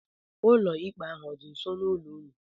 Ụlọ ikpe ahụ ọ dị nso n'ụlọ ụnụ?